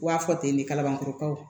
U b'a fɔ ten de kabankorokaw